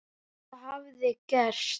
Hvað hafði gerst?